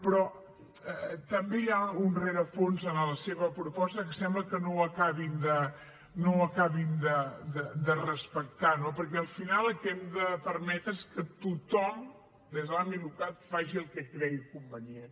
però també hi ha un rerefons en la seva proposta que sembla que no ho acabin de respectar no perquè al final el que hem de permetre és que tothom des de l’àmbit local faci el que cregui convenient